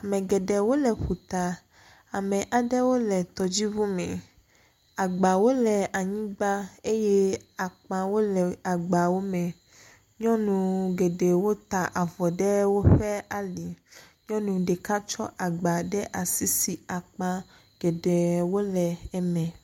Ame geɖewo le ƒuta, ame aɖewo le tɔdziŋu me. Agbawo le anyigba eye akpawo le agbawo me. Nyɔnu geɖewo ta avɔ ɖe woƒe ali. Nyɔnu ɖeka tsɔ agba ɖe asi si akpa geɖewo le eme.